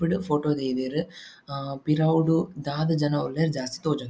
ಡ್ ಫೋಟೊ ದೈದೆರ್ ಹಾ ಪಿರವುಡ್ ದಾದ ಜನ ಉಲ್ಲೆರ್ ಜಾಸ್ತಿ ತೋಜೊಂದಿಜ್ಜಿ.